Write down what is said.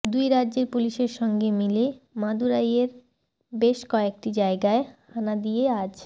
দুই রাজ্যের পুলিশের সঙ্গে মিলে মাদুরাইয়ের বেশ কয়েকটি জায়গায় হানা দিয়ে আজ